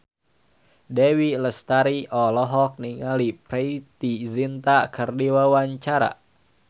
Dewi Lestari olohok ningali Preity Zinta keur diwawancara